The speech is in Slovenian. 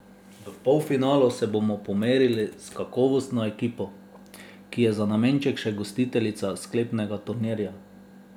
V polfinalu se bomo pomerili s kakovostno ekipo, ki je za nameček še gostiteljica sklepnega turnirja.